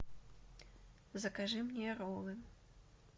закажи мне роллы